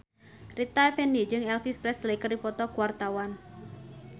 Rita Effendy jeung Elvis Presley keur dipoto ku wartawan